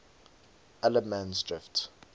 allemansdrift